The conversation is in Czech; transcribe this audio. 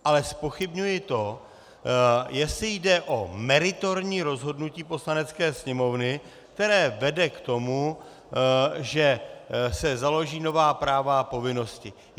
Ale zpochybňuji to, jestli jde o meritorní rozhodnutí Poslanecké sněmovny, které vede k tomu, že se založí nová práva a povinnosti.